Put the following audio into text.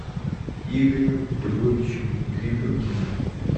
игорем львовичем гребенкиным